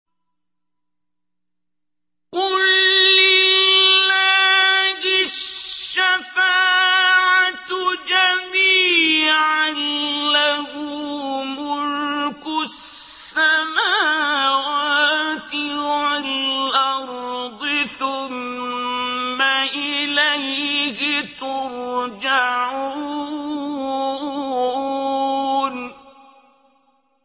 قُل لِّلَّهِ الشَّفَاعَةُ جَمِيعًا ۖ لَّهُ مُلْكُ السَّمَاوَاتِ وَالْأَرْضِ ۖ ثُمَّ إِلَيْهِ تُرْجَعُونَ